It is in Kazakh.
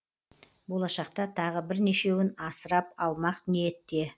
болашақта тағы бірнешеуін асырап алмақ ниетте